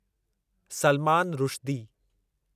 Salman Rushdie